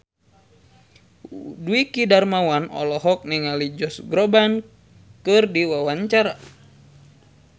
Dwiki Darmawan olohok ningali Josh Groban keur diwawancara